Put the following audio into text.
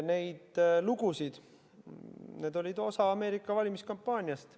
Need lood olid osa Ameerika valimiskampaaniast.